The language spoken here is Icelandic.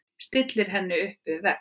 Stillir henni upp við vegg.